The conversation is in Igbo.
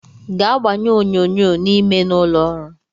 Gaa gbanye onyonyo n’ime n’ụlọọrụ!